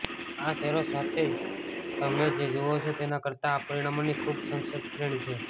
આ શેરો સાથે તમે જે જુઓ છો તેના કરતા આ પરિણામોની ખૂબ સંક્ષિપ્ત શ્રેણી છે